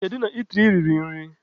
Kedu na itiri i riri nri?